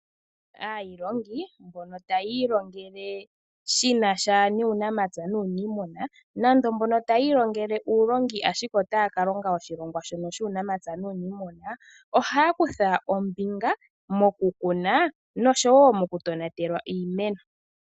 Aailongi mbono taya ilongele shina sha nuunamapya nuuniimuna nando mbono taya ilongele uulongi ashike otaya ka longa oshilongwa shono shuunamapya nuuniimuna. Ohaya kutha ombinga mokukuna noshowo okutonatela iimeno.